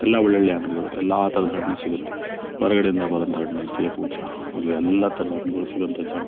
ಎಲ್ಲ ಒಳ್ಳೊಳ್ಳೆ ಅಂಗಡಿಗಳು ಎಲ್ಲಾ ತರದ ಹಣ್ಣುಗಳು ಸಿಗುತ್ತವೆ. ಹೊರಗಡೆ ಇಂದ ಬರುವಂಥ ಹಣ್ಣುಗಳು ಸೇಬು ಎಲ್ಲಾ ತರದ ಹಣ್ಣುಗಳು ಸಿಗುವಂಥ ಜಾಗ.